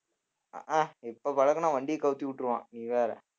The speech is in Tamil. அஹ் ஆஹ் இப்ப பழக்குனா வண்டிய கவுத்தி விட்டுருவான் நீ வேற